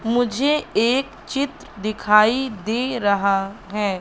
मुझे एक चित्र दिखाई दे रहा है।